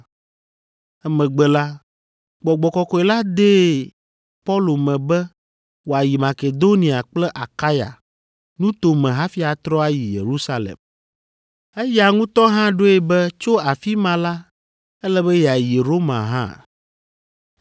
Emegbe la, Gbɔgbɔ Kɔkɔe la dee Paulo me be wòayi Makedonia kple Akaya nuto me hafi atrɔ ayi Yerusalem. Eya ŋutɔ hã ɖoe be tso afi ma la, ele be yeayi Roma hã.